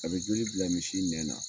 A bɛ joli bila misi nɛn na.